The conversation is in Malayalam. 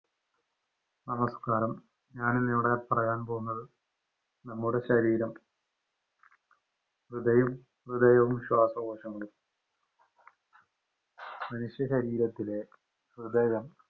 നമസ്കാരം, ഞാനിന്നിവിടെ പറയാന്‍ പോകുന്നത് നമ്മുടെ ശരീരം, ഹൃദയം ഹൃദയവും ശ്വാസകോശങ്ങളും. മനുഷ്യ ശരീരത്തിലെ ഹൃദയം,